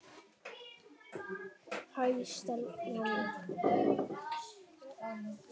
Hæ, Stella mín.